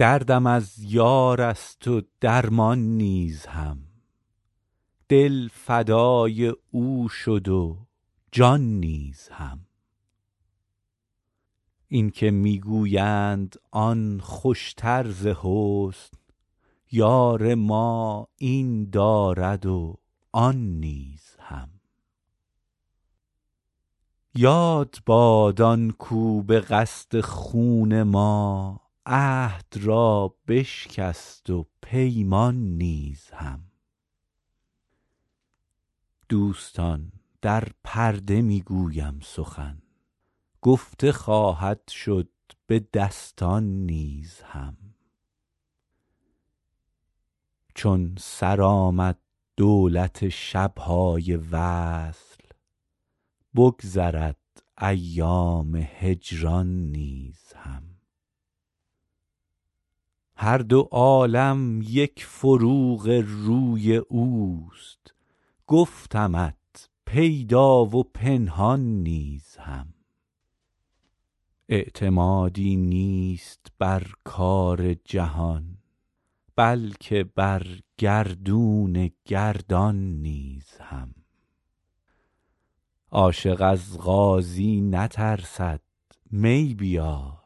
دردم از یار است و درمان نیز هم دل فدای او شد و جان نیز هم این که می گویند آن خوشتر ز حسن یار ما این دارد و آن نیز هم یاد باد آن کاو به قصد خون ما عهد را بشکست و پیمان نیز هم دوستان در پرده می گویم سخن گفته خواهد شد به دستان نیز هم چون سر آمد دولت شب های وصل بگذرد ایام هجران نیز هم هر دو عالم یک فروغ روی اوست گفتمت پیدا و پنهان نیز هم اعتمادی نیست بر کار جهان بلکه بر گردون گردان نیز هم عاشق از قاضی نترسد می بیار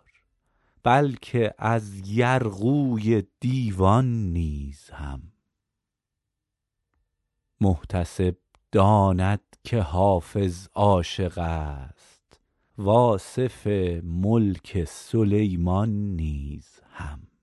بلکه از یرغوی دیوان نیز هم محتسب داند که حافظ عاشق است و آصف ملک سلیمان نیز هم